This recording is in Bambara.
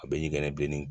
A bɛ ɲɛngɛrɛ bilen